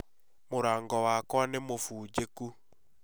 Mũrango wakwa nĩ mũfũnjekũ